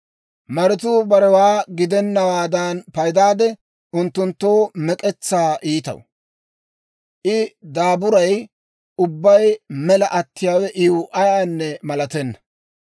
Maratuu barewaa gidennawaadan paydaadde, unttunttoo mek'etsaa iitaw. I daaburay ubbay mela attiyaawe iw ayaanne malatenna.